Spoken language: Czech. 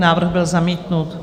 Návrh byl zamítnut.